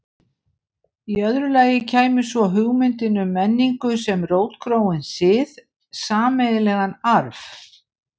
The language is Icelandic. Í öðru lagi kæmi svo hugmyndin um menningu sem rótgróinn sið, sameiginlegan arf.